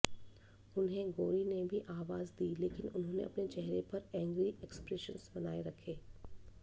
उन्हें गौरी ने भी आवाज़ दी लेकिन उन्होंने अपने चेहरे पर एंग्री एक्सप्रेशन बनाए रखे